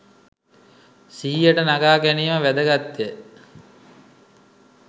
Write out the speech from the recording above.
සිහියට නගා ගැනීම වැදගත් ය